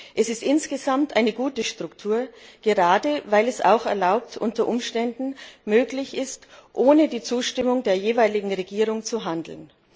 Es ist insgesamt eine gute Struktur, gerade weil es so unter Umständen möglich ist, ohne die Zustimmung der jeweiligen Regierung zu handeln.